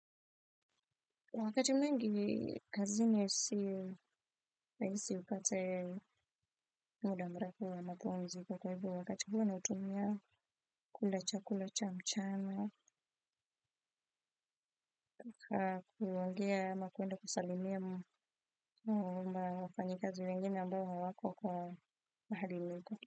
Wakati mwingi kazini sio rahisi upate muda mra kuwa na pumzi kwa hivo ibu waka chum wakati huo na hutumia kula chakula cha mchana haa kuongea ma kuenda ku salimia ma maa wafanyi kazi wengine ambao hawako kwa mahali mliko.